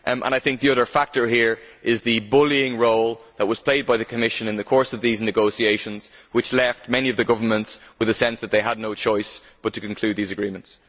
I think the other factor here is the bullying role that was played by the Commission in the course of these negotiations, which left many of the governments with the sense that they had no choice but to conclude these agreements.